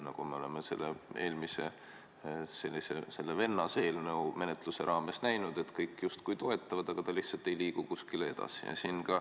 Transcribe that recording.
Nagu me oleme eelmise sellise vennaseelnõu menetluse raames näinud, kõik justkui toetavad, aga ta lihtsalt ei liigu kuskile edasi.